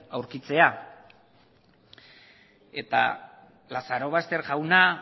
aurkitzea eta lazarobaster jauna